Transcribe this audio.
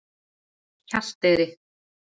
Hjalteyri